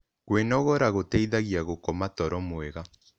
Kwĩnogora gũteĩthagĩa gũkoma toro mwega